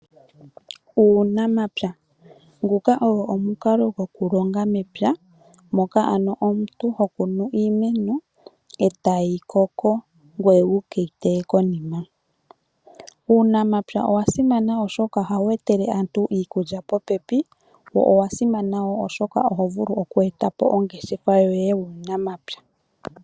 Uunamapya , nguka ogo omukalo gwoku longa mepya moka ano omuntu ho kunu iimeno etayi koko ngoye wukeyi teye konima. Uunamapya owa simana oshoka ohawu etele aantu iikulya popepi, wo owa simana wo osho oto vulu oku etapo ongeshefa yoye uunamapya.